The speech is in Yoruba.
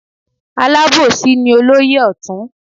Alábòsí ni olóyè ọ̀tún.